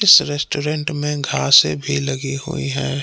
इस रेस्टोरेंट में घासे भी लगी हुई है।